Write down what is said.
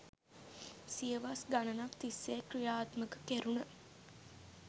සියවස් ගණනක් තිස්සේ ක්‍රියාත්මක කෙරුන